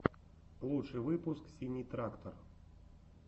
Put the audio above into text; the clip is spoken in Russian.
лучший выпуск синий трактор